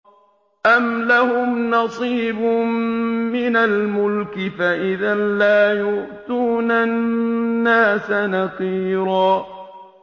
أَمْ لَهُمْ نَصِيبٌ مِّنَ الْمُلْكِ فَإِذًا لَّا يُؤْتُونَ النَّاسَ نَقِيرًا